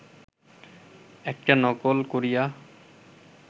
একটা নকল করিয়া